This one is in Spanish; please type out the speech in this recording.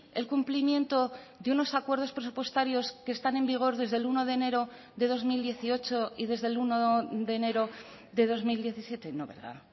el cumplimiento de unos acuerdos presupuestarios que están en vigor desde el uno de enero de dos mil dieciocho y desde el uno de enero de dos mil diecisiete no verdad